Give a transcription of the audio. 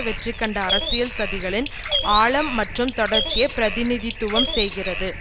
வெற்றி கண்ட அரசியல் சதிகளின் ஆழம் மற்றும் தொடர்ச்சியைப் பிரதிநிதித்துவம் செய்கிறது